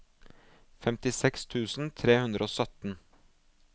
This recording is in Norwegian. femtiseks tusen tre hundre og sytten